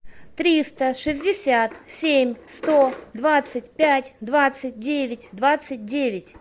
триста шестьдесят семь сто двадцать пять двадцать девять двадцать девять